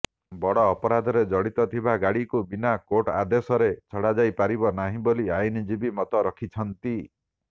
ବଡ ଅପରାଧରେ ଜଡିତ ଥିବା ଗାଡିକୁ ବିନା କୋର୍ଟ ଆଦେଶରେ ଛଡାଯାଇପାରିବ ନାହିଁ ବୋଲି ଆଇନଜୀବୀ ମତ ରଖିଛନ୍ତି